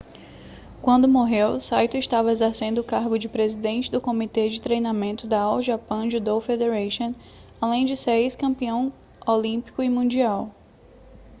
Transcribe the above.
quando morreu saito estava exercendo o cargo de presidente do comitê de treinamento da all japan judo federation além de ser ex-campeão olímpico e mundial